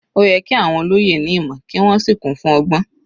Ó yẹ kí àwọn olóyè ní ìmọ̀ kí wọ́n sì kún fún ọgbọ́n.